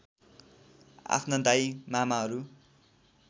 आफ्ना दाइ मामाहरू